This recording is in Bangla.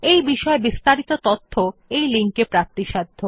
এই বিষয় বিস্তারিত তথ্য এই লিঙ্ক এ প্রাপ্তিসাধ্য